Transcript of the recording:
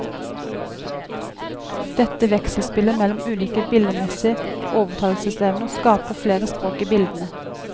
Dette vekselspillet mellom ulike billedmessige overtalelsesevner skaper flere språk i bildene.